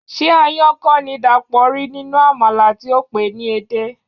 Ṣé aáyán kọ́ ni Dàpọ̀ rí nínú àmàlà tí ó pè é ní edé?